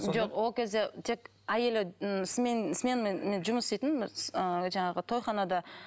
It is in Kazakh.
жоқ ол кезде тек әйелі м сменмен жұмыс істейтін ыыы жаңағы тойханада